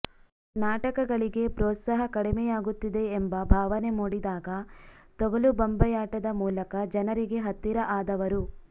ನಾಟಕಗಳಿಗೆ ಪ್ರೋತ್ಸಾಹ ಕಡಿಮೆಯಾಗುತ್ತಿದೆ ಎಂಬ ಭಾವನೆ ಮೂಡಿದಾಗ ತೊಗಲು ಗೊಂಬೆಯಾಟದ ಮೂಲಕ ಜನರಿಗೆ ಹತ್ತಿರ ಆದವರು